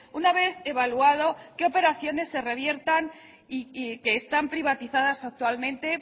una vez evaluado qué operaciones se reviertan y que están privatizadas actualmente